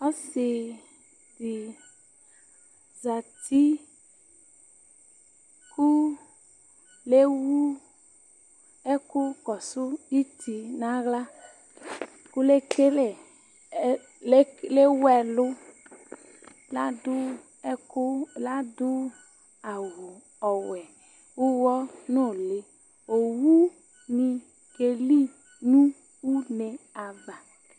Ɔsɩ ɖɩ zati ƙʋ l'ewu ɛƙʋ ƙɔsʋ iti nʋ aɣlaL' ewu ɛlʋ ,l' aɖʋ awʋ ɔwɛ ʋwʋnʋlɩOwu mɩ ƙeli nʋ une ava